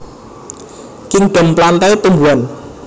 Kingdom Plantae Tumbuhan